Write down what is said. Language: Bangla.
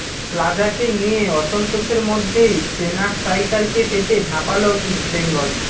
প্লাজাকে নিয়ে অসন্তোষের মধ্যেই চেনা স্ট্রাইকারকে পেতে ঝাঁপাল ইস্টবেঙ্গল